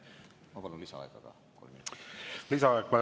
Ma palun lisaaega kolm minutit.